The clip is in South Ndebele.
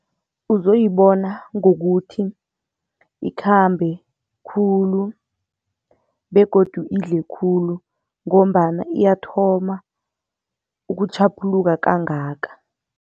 Uzoyibona ngokuthi ikhambe khulu begodu idle khulu ngombana iyathoma ukutjhaphuluka kangaka.